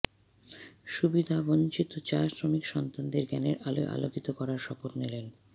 সুবিধাবঞ্চিত চা শ্রমিক সন্তানদের জ্ঞানের আলোয় আলোকিত করার শপথ নিলেন